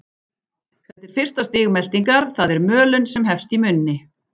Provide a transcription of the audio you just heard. Þetta er fyrsta stig meltingar, það er mölun, sem hefst í munni.